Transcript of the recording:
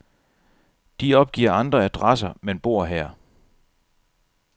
De opgiver andre adresser, men bor her.